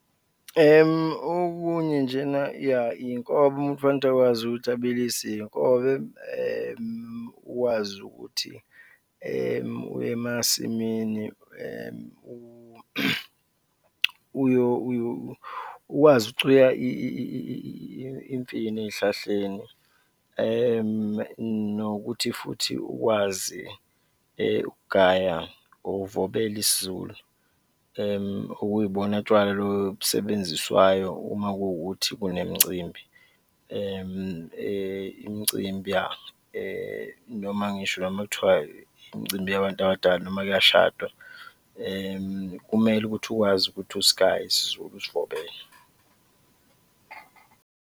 Okunye nje na ya, iy'nkobe, umuntu kufanele ukuthi akwazi ukuthi abilise iy'nkobe, ukwazi ukuthi uye emasimini ukwazi ukucuya imifino ey'hlahleni nokuthi futhi ukwazi ukugaya or uvebele isiZulu, okuyibona tshwala lobu obusebenziswayo uma kuwukuthi kunemicimbi imicimbi ya noma ngisho noma kuthiwa imicimbi yabantu abadala noma kuyashadwa, kumele ukuthi ukwazi ukuthi usigaye isiZulu, usivobele.